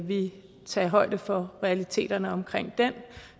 vi tage højde for realiteterne omkring den